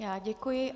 Já děkuji.